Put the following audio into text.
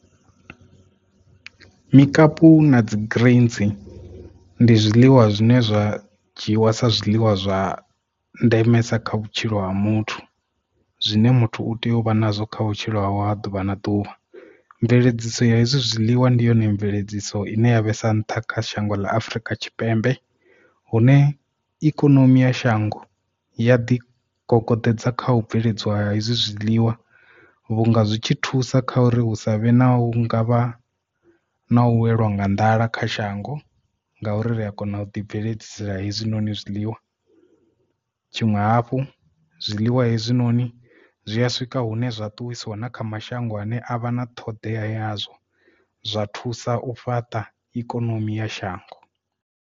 Mikapu na dzi greens ndi zwiḽiwa zwine zwa dzhiiwa sa zwiḽiwa zwa ndemesa kha vhutshilo ha muthu zwine muthu u tea uvha nazwo kha vhutshilo hawe ha ḓuvha na ḓuvha. Mveledziso ya hezwi zwiḽiwa ndi yone mveledziso ine ya vhesa a nṱha kha shango ḽa afrika tshipembe hune ikonomi ya shango ya ḓi kokoḓedza kha u bveledziwa ha hezwi zwiḽiwa vhunga zwi tshi thusa kha uri hu savhe na hu ngavha na u weliwa nga nḓala kha shango ngauri ri a kona u ḓi bveledzisela hezwinoni zwiḽiwa. Tshiṅwe hafhu zwiḽiwa hezwinoni zwi a swika hune zwa ṱuwisa na kha mashango ane a vha na ṱhoḓea yazwo zwa thusa u fhaṱa ikonomi ya shango.